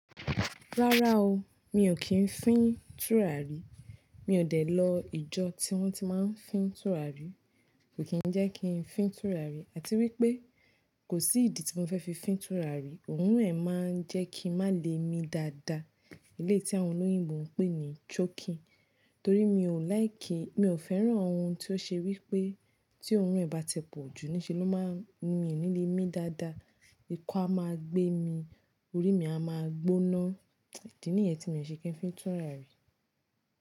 Rárá o, mi ò kí ń fín tùràrí. Mi ò dé lọ ìjọ tí wọ́n ti máa ń fín tùràrí. Kò kí ń jẹ́ kí ń fín tùràrí àti wípé kò sí ìdí tí mo fẹ́ fi fín tùràrí, òórùn ẹ̀ máa ń jẹ́ kí i má le mi dáadáa. Eleyii tí àwọn olóyìnbọ ń pè ní choky. Torí mi ò like i, mi ò fẹ́ràn ohun tí ó ṣe wípé tí òórùn ẹ̀ bá ti pọ̀jù ní ṣe ló máa ń ni mi ní lé mi dáadáa. Ikọ́ a máa gbé mi, orí mi a máa gbóná. Idi nìyẹn tí mi ò ṣe kí ń fí tùràrí.